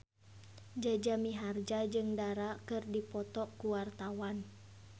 Jaja Mihardja jeung Dara keur dipoto ku wartawan